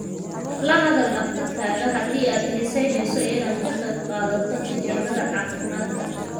La hadal dhakhtarkaaga haddii aad xiisaynayso inaad ka qayb qaadato tijaabada caafimaadka.